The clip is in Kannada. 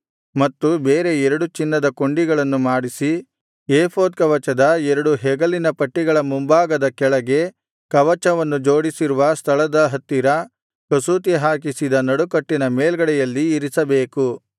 ಮತ್ತು ಬೇರೆ ಎರಡು ಚಿನ್ನದ ಕೊಂಡಿಗಳನ್ನು ಮಾಡಿಸಿ ಏಫೋದ್ ಕವಚದ ಎರಡು ಹೆಗಲಿನ ಪಟ್ಟಿಗಳ ಮುಂಭಾಗದ ಕೆಳಗೆ ಕವಚವನ್ನು ಜೋಡಿಸಿರುವ ಸ್ಥಳದ ಹತ್ತಿರ ಕಸೂತಿ ಹಾಕಿಸಿದ ನಡುಕಟ್ಟಿನ ಮೇಲ್ಗಡೆಯಲ್ಲಿ ಇರಿಸಬೇಕು